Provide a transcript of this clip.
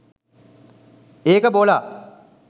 ඒක බොලා.